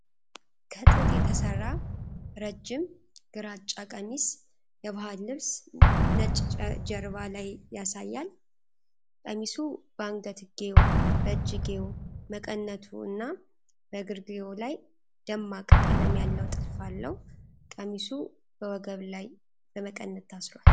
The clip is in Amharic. ከጥጥ የተሰራ ረጅም ግራጫ ቀሚስ፣ የባህል ልብስ፣ ነጭ ጀርባ ላይ ያሳያል። ቀሚሱ በአንገትጌው፣ በእጅጌው፣ መቀነቱ እና በእግርጌው ላይ ደማቅ ቀለም ያለው ጥልፍ አለው። ቀሚሱ በወገቡ ላይ በመቀነት ታስሯል።